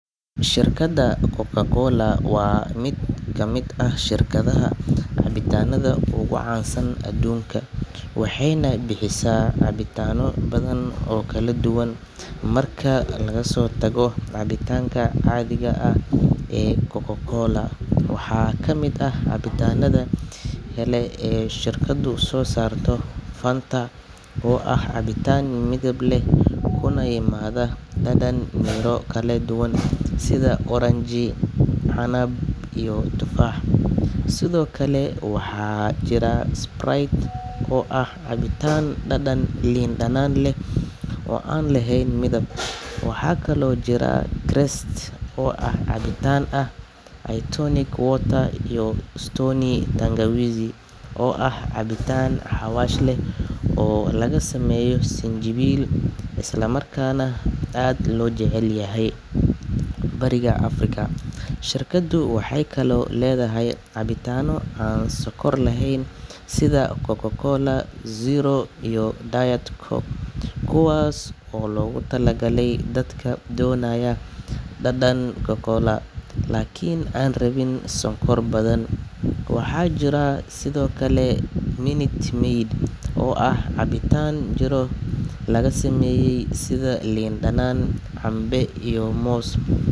Shirkadda Coca-Cola waa mid ka mid ah shirkadaha cabitaannada ugu caansan adduunka, waxayna bixisaa cabitaanno badan oo kala duwan marka laga soo tago cabitaanka caadiga ah ee Coca-Cola. Waxaa ka mid ah cabitaannada kale ee shirkaddu soo saarto Fanta, oo ah cabitaan midab leh kuna yimaada dhadhan miro kala duwan sida oranji, canab iyo tufaax. Sidoo kale, waxaa jira Sprite oo ah cabitaan dhadhan liin dhanaan leh oo aan lahayn midab. Waxaa kaloo jira Krest oo ah cabitaan ah tonic water, iyo Stoney Tangawizi oo ah cabitaan xawaash leh oo laga sameeyay sinjibiil, islamarkaana aad loo jecel yahay bariga Afrika. Shirkaddu waxay kaloo leedahay cabitaanno aan sonkor lahayn sida Coca-Cola Zero iyo Diet Coke, kuwaas oo loogu talagalay dadka doonaya dhadhan cola laakiin aan rabin sonkor badan. Waxaa jira sidoo kale Minute Maid, oo ah cabitaan miro laga sameeyay sida liin dhanaan, cambe iyo moos.